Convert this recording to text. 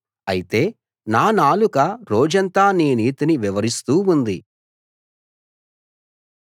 అయితే నా నాలుక రోజంతా నీ నీతిని వివరిస్తూ ఉంది